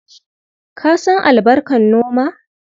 Ka san albarkar noma?